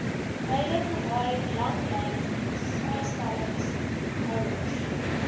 huidige haai langlynvrystellingshouers